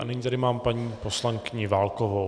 A nyní tady mám paní poslankyni Válkovou.